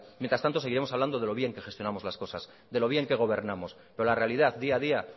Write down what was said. mientras tanto seguiremos hablando de lo bien que gestionamos las cosas de lo bien que gobernamos pero la realidad día a día